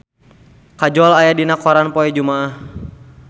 Kajol aya dina koran poe Jumaah